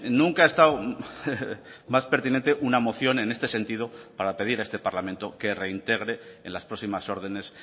nunca ha estado más pertinente una moción en este sentido para pedir a este parlamento que reintegre en las próximas órdenes